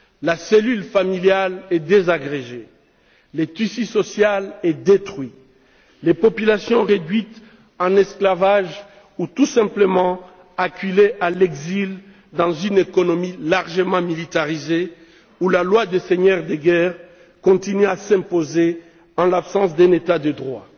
La cellule familiale est désagrégée, le tissu social est détruit, les populations sont réduites en esclavage ou tout simplement acculées à l'exil dans une économie largement militarisée où la loi des seigneurs de guerre continue à s'imposer en l'absence d'un État de droit.